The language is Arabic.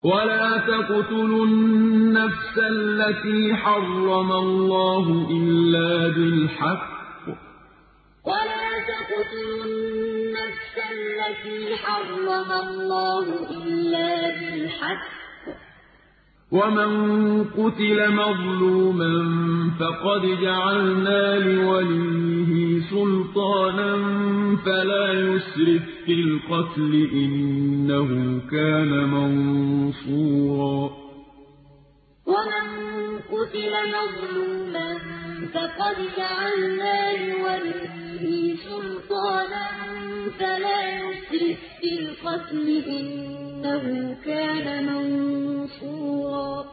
وَلَا تَقْتُلُوا النَّفْسَ الَّتِي حَرَّمَ اللَّهُ إِلَّا بِالْحَقِّ ۗ وَمَن قُتِلَ مَظْلُومًا فَقَدْ جَعَلْنَا لِوَلِيِّهِ سُلْطَانًا فَلَا يُسْرِف فِّي الْقَتْلِ ۖ إِنَّهُ كَانَ مَنصُورًا وَلَا تَقْتُلُوا النَّفْسَ الَّتِي حَرَّمَ اللَّهُ إِلَّا بِالْحَقِّ ۗ وَمَن قُتِلَ مَظْلُومًا فَقَدْ جَعَلْنَا لِوَلِيِّهِ سُلْطَانًا فَلَا يُسْرِف فِّي الْقَتْلِ ۖ إِنَّهُ كَانَ مَنصُورًا